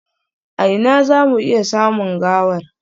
A ina za mu iya samun gawar?